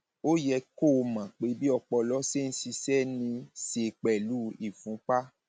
ó yẹ kó o mọ pé bí ọpọlọ ṣe ń ṣiṣẹ ní í ṣe pẹlú ìfúnpá